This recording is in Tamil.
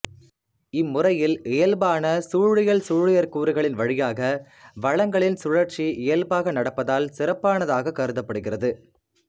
இம்முறையில் இயல்பான சூழியல்சூழியற்கூறுகளின் வழியாக வளங்களின் சுழற்சி இயல்பாக நடப்பதால் சிறப்பானதாகக் கருதப்படுகிறது